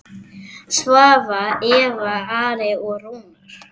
Svava, Eva, Ari og Rúnar.